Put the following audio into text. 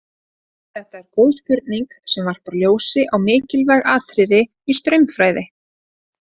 Þetta er góð spurning sem varpar ljósi á mikilvæg atriði í straumfræði.